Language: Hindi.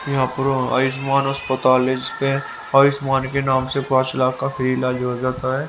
यहां पर आयुष्मान अस्पताल है जिसके आयुष्मान के नाम से पांच लाख का फ्री इलाज हो जाता है।